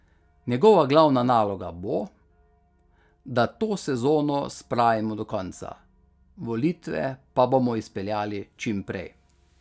Njegova glavna naloga bo, da to sezono spravimo do konca, volitve pa bomo izpeljali čim prej.